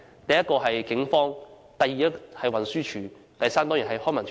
第一，是警方；第二，是運輸署；第三，當然是康文署。